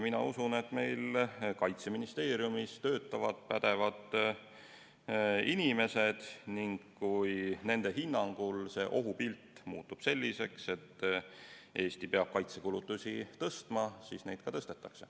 Mina usun, et meil Kaitseministeeriumis töötavad pädevad inimesed ning kui nende hinnangul muutub ohupilt selliseks, et Eesti peab kaitsekulutusi suurendama, siis seda tehakse.